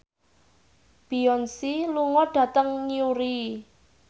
Beyonce lunga dhateng Newry